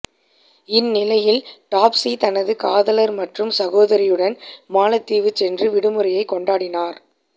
இந்நிலையில் டாப்ஸி தனது காதலர் மற்றும் சகோதரியுடன் மாலத்தீவு சென்று விடுமுறையை கொண்டாடினார்